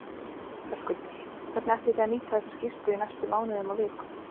Höskuldur: Hvernig ætlið þið að nýta þessa skýrslu í næstu mánuðum og vikum?